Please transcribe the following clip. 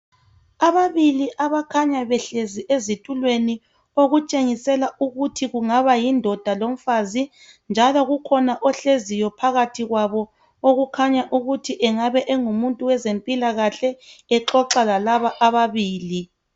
Ababili abakhanya behlezi ezitulweni okutshengisela ukuthi kungaba yindoda lomfazi. Njalo kukhona ohleziyo phakathi kwabo okukhanya ukuthi engabe engumuntu wezempilakahle exoxa lalaba ababili.